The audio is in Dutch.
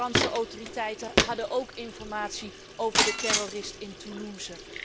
De Franse autoriteiten hadden ook informatie over de terrorist in Toulouse.